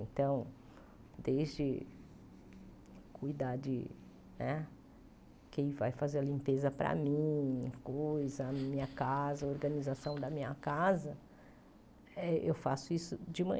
Então, desde cuidar de né quem vai fazer a limpeza para mim, e coisa a minha casa, a organização da minha casa, eh eu faço isso de